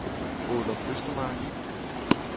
Ålum Østermark